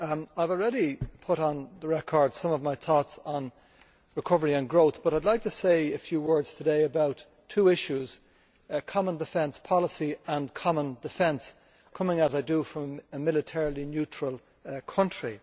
Mr President, I have already put on the record some of my thoughts on recovery and growth, but I would like to say a few words today about two issues common defence policy and common defence, coming as I do from a militarily neutral country.